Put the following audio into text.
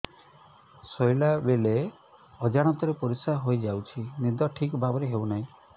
ଶୋଇଲା ବେଳେ ଅଜାଣତରେ ପରିସ୍ରା ହୋଇଯାଉଛି ନିଦ ଠିକ ଭାବରେ ହେଉ ନାହିଁ